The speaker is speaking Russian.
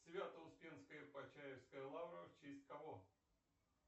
свято успенская почаевская лавра в честь кого